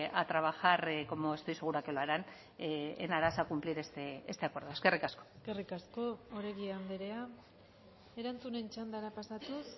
a trabajar como estoy segura que lo harán en aras a cumplir este acuerdo eskerrik asko eskerrik asko oregi andrea erantzunen txandara pasatuz